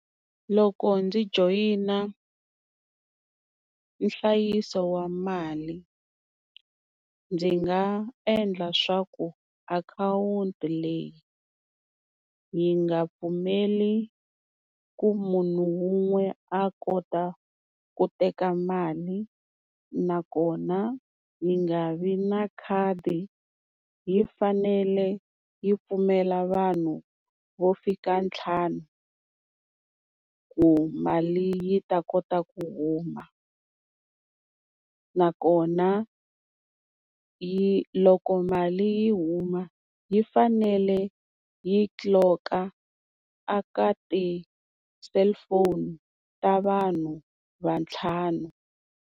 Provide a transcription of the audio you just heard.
Loko ndzi joyina nhlayiso wa mali ndzi nga endla swa ku akhawunti leyi yi nga pfumeli ku munhu wun'we a kota ku teka mali. Nakona yi nga vi na khadi yi fanele yi pfumela vanhu vo fika ntlhanu ku mali yi ta kota ku huma. Nakona yi loko mali yi huma yi fanele yi tliloka a ka ti-cellphone ta vanhu vantlhanu.